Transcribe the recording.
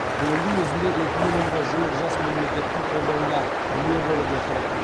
биылдың өзінде екі миллионға жуық жас мемлекеттің қолдауына ие болып отыр